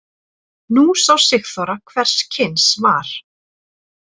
Nú sá Sigþóra hvers kyns var.